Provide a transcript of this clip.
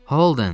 Holden.